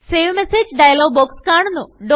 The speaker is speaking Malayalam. സേവ് മെസേജ് ഡയലോഗ് ബോക്സ് കാണുന്നു